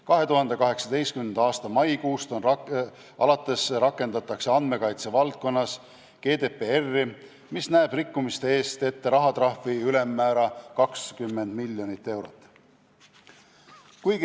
2018. aasta maikuust alates rakendatakse andmekaitse valdkonnas GDPR-i, mis näeb rikkumiste eest ette rahatrahvi ülemmäära 20 miljonit eurot.